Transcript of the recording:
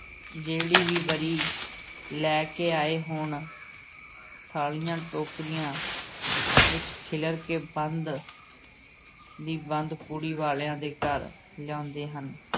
ਜਿਹੜੀ ਵੀ ਵਰੀ ਲੈ ਕੇ ਆਏ ਹੋਣ ਥਾਲੀਆਂ, ਟੋਕਰੀਆਂ ਵਿਚ ਖਿਲਰ ਕੇ ਬੰਦ ਦੀ ਬੰਦ ਕੁੜੀ ਵਾਲਿਆਂ ਦੇ ਘਰ ਲਿਆਉਂਦੇ ਹਨ।